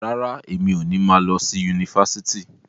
Rárá, emi o ni ma lọ sí yunifásítì.